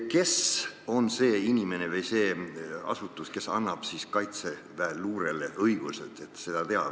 Kes on see inimene või see asutus, kes annab siis Kaitseväe luurele õiguse seda teha?